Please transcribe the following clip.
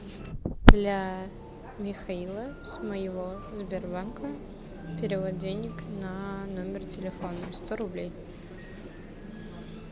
для михаила с моего сбербанка перевод денег на номер телефона сто рублей